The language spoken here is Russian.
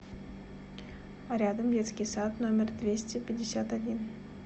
рядом детский сад номер двести пятьдесят один